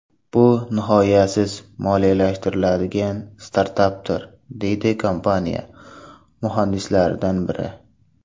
Bu nihoyasiz moliyalashtiriladigan startapdir”, deydi kompaniya muhandislaridan biri.